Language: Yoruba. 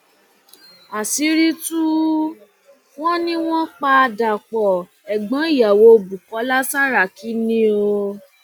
àṣírí tù wọn ni wọn pa dapò ẹgbọn ìyàwó bukola saraki ni o